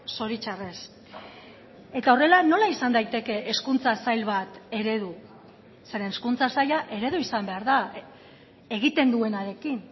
zoritzarrez eta horrela nola izan daiteke hezkuntza sail bat eredu zeren hezkuntza saila eredu izan behar da egiten duenarekin